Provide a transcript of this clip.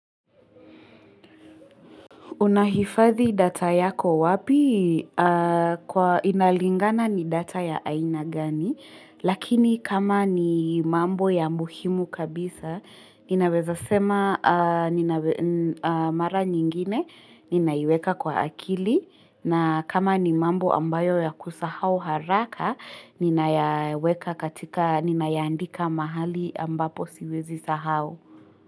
Unahifadhi data yako wapi? Inalingana ni data ya aina gani, lakini kama ni mambo ya muhimu kabisa, ninaweza sema mara nyingine ninaiweka kwa akili, na kama ni mambo ambayo ya kusahau haraka, ninayaweka katika ninaandika mahali ambapo siwezi sahau.